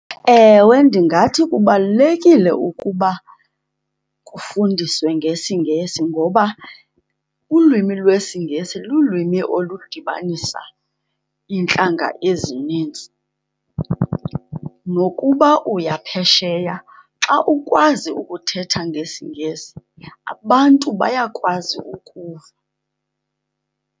Ewe, ndingathi kubalulekile ukuba kufundiswe ngesiNgesi ngoba ulwimi lwesiNgesi lulwimi oludibanisa iintlanga ezinintsi. Nokuba uya phesheya, xa ukwazi ukuthetha ngesiNgesi abantu bayakwazi ukuva.